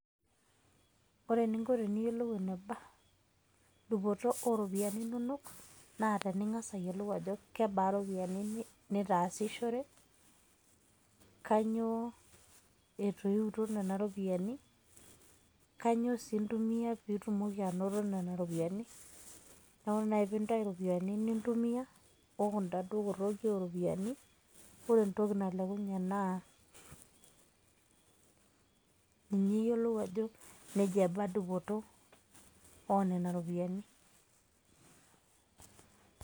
Ore eninko teniyolou eneba dupoto o ropiani inonok, naa tening'asa ayiolou ajo kebaa ropiani nitaasishore, kanyo etoiwutuo nena ropiani, kanyoo sii intumia piitumoki anoto nena ropiani. Neeku naa pintayu ropiani nintumia o kunda dou kotoki o ropiani, ore entoki nalekunye naa ninye iyolou ajo neja eba dupoto o nena ropiani.